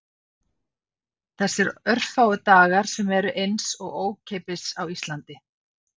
Þessir örfáu dagar sem eru eins og ókeypis á Íslandi